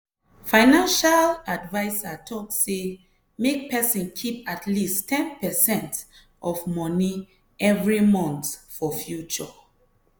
financial adviser talk say make person keep at least ten percent of moni every month for future.